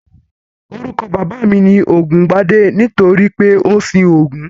Orúkọ bàbá mi ni Ògúngbadé nítorí pé ó ń sin Ògún